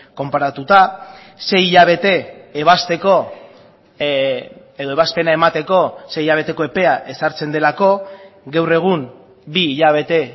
konparatuta sei hilabete ebazteko edo ebazpena emateko sei hilabeteko epea ezartzen delako gaur egun bi hilabete